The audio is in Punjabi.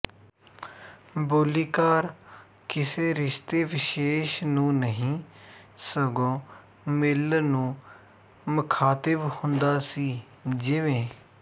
ਬੋਲੀਕਾਰ ਕਿਸੇ ਰਿਸ਼ਤੇ ਵਿਸ਼ੇਸ਼ ਨੂੰ ਨਹੀਂ ਸਗੋਂ ਮੇਲਣ ਨੂੰ ਮਖਾਤਿਬ ਹੁੰਦਾ ਸੀ ਜਿਵੇਂ